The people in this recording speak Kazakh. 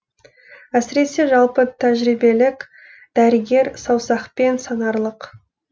әсіресе жалпы тәжірибелік дәрігер саусақпен санарлық